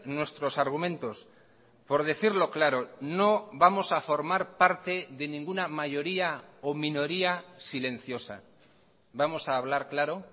nuestros argumentos por decirlo claro no vamos a formar parte de ninguna mayoría o minoría silenciosa vamos a hablar claro